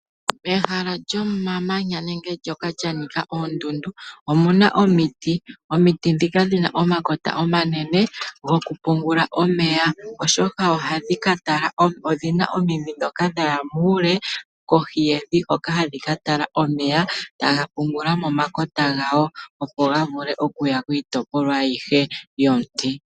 Ehala lyomamanya nenge ehala ndoka li na oondundu omuna Omiti . Omiti ndhika dhi na omakota omanene gokupungula omeya. Odhina omidhi ndhoka dha ya muule kohi yevi hoka ha dhi katala omeya tadhipula momakakota gadho opo ga vule okuya kiitopolwa ayihe yOmuti.